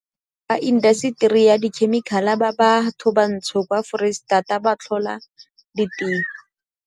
Beng ba indaseteri ya dikhemikhale ba bathobantsho kwa Foreisetata ba tlhola ditiro.